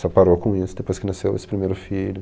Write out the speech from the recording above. Só parou com isso depois que nasceu esse primeiro filho.